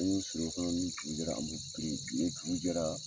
A bɛ sigi u kɔrɔ , an bɛ kile kɛ ka